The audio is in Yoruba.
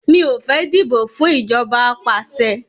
Mi ò fẹ́ dìbò fún ìjọba apàṣẹ